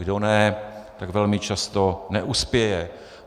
Kdo ne, tak velmi často neuspěje.